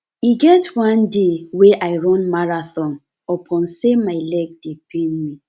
e get one day wey i run marathon upon sey my leg dey pain me